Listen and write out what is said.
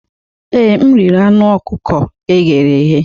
Ee, m riri anụ ọkụkọ e ghere eghe.